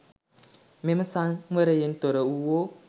මෙම සංවරයෙන් තොර වුවෝ